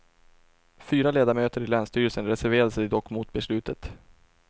Fyra ledamöter i länsstyrelsen reserverade sig dock mot beslutet.